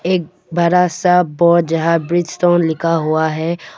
एक बरा सा बोर्ड जहां ब्रिजस्टोन लिखा हुआ है।